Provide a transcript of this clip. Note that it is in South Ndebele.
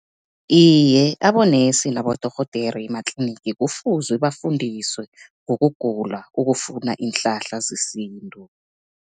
Iye, abonesi nabodorhodere ematlinigi kufuze bafundiswe, ngokugula okufuna iinhlahla zesintu.